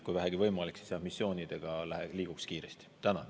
Kui vähegi võimalik, siis missioonide võiks liikuda kiiresti.